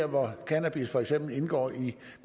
hvor cannabis for eksempel indgår i